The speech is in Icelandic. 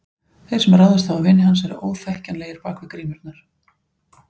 Þeir sem ráðist hafa á vini hans eru óþekkjanlegir bak við grímurnar.